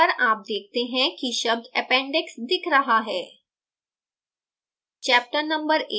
compile करने पर आप देखते हैं कि शब्द appendix दिख रहा है